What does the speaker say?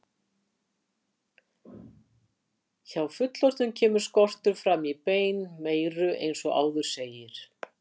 Hjá fullorðnum kemur skortur fram í beinmeyru eins og áður segir.